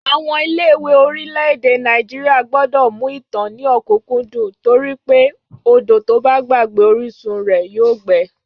Àwọn ilé-ìwé orílẹ̀-èdè Nàìjíríà gbọ́dọ̀ mú ìtàn ní ọ̀kúkúndùn torí pé odò tó bá gbàgbé orísun rẹ̀ yóò gbẹ